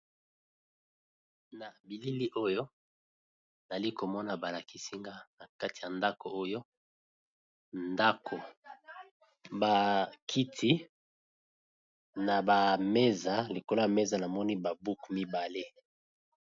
Na bilili oyo nali komona balakisinga na kati ya ndako oyo, ndako bakiti na bameza likolo ya meza namoni babuku mibale.